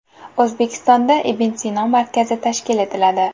O‘zbekistonda Ibn Sino markazi tashkil etiladi.